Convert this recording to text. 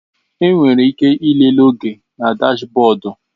Ị nwere ike ịlele oge na dashbọdu.